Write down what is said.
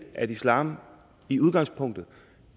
at islam i udgangspunktet